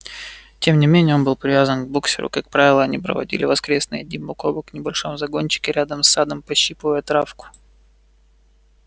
тем не менее он был привязан к боксёру как правило они проводили воскресные дни бок о бок в небольшом загончике рядом с садом пощипывая травку